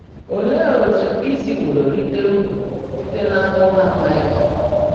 Óleé ótú í síwóró ríté úrụ́ síte n’ámụ́má Máịkà?